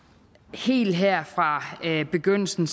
helt her fra begyndelsen